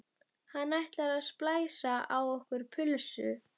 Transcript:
Hann ætlar að splæsa á okkur pulsu!